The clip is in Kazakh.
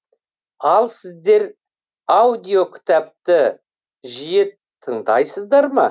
ал сіздер аудиокітапты жие тыңдайсыздар ма